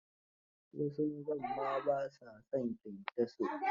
Wasu mazan ma ba sa son kyankyaso.